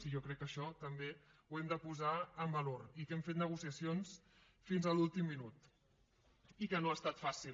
i jo crec que això també ho hem de posar en valor i que hem fet negociacions fins a l’últim minut i que no ha estat fàcil